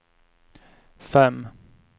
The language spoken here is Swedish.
fem